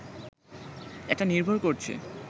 এটা নির্ভর করছে